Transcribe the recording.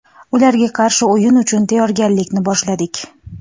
Ularga qarshi o‘yin uchun tayyorgarlikni boshladik.